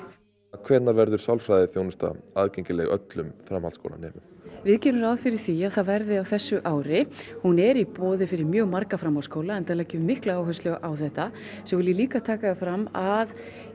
hvenær verður sálfræðiþjónusta aðgengileg öllum framhaldsskólanemum við gerum ráð fyrir því að það verði á þessu ári hún er í boði fyrir mjög marga framhaldsskóla enda leggjum við mikla áherslu á þetta svo vil ég líka taka fram að